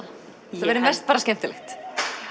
þetta verður mest bara skemmtilegt